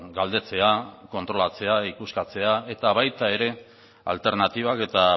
galdetzea kontrolatzea ikuskatzea eta baita ere alternatibak eta